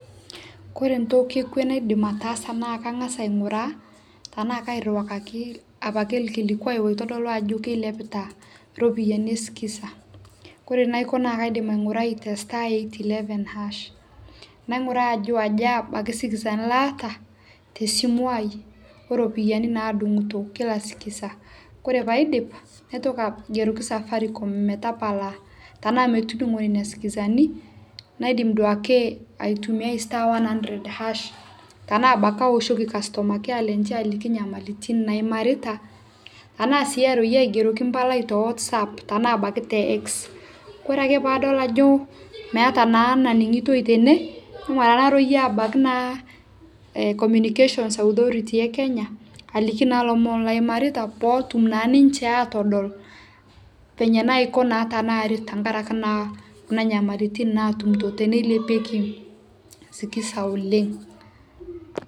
kore ntoki e kwe naidim ataasa naa kangas ainguraa tanaa kairuakakii apakee lkilikwai loitodoluu ajoo keiliapitaa ropiyani ee skiza naa kore naiko naa kaidim aingurai te staa eight eleven haash nainguraa ajo ajaa abaki sikizani laata te simuu aai oo ropiyani naadunguto kila sikiza kore paidip naitokii aigeroki safaricom metapalaa tanaa metudungoo ninia sikizanii naidim duake aitumiai staa one hundred haash tanaa abaki awoshokii customer care lenshe alikii nyamalitin naimaritaa anaa sii aroiyee aingeroki mpalai towotsap tanaa abaki te ekix kore ake paadol ajoo meata naa naningitoi tenee ijo maraa naroiyee abakii naa communication authority ee kenyaa aliki naa lomon laimaritaa pootum naa ninshe atodol penyee naiko naa tanaaret tankarakakee naa kunaa nyamalitin naatumitoo teneiliepieki sikizaa oleng